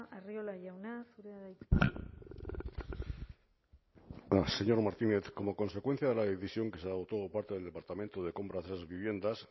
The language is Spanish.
arriola jauna zurea da hitza señor martínez como consecuencia de la decisión que se adoptó por parte del departamento de compra de esas viviendas